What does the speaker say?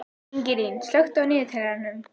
Ingilín, slökktu á niðurteljaranum.